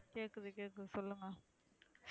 கேக்குது கேக்குது சொல்லுங்க.